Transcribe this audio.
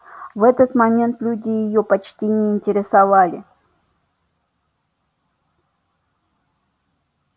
в этот момент люди её почти не интересовали